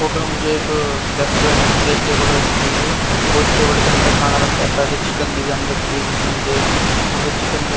photo में मुझे एक रेस्टोरेंट के अंदर एक टेबल रखी हुई है उस टेबल के अंदर खाना रखा है साथ चिकन बिरयानी रखी हुई है जिसमें मुझे यहाँ पे चिकन --